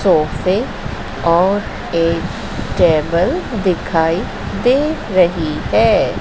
सोफे और एक टेबल दिखाई दे रही है।